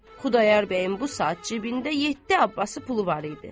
Xudayar bəyin bu saat cibində yeddi Abbası pulu var idi.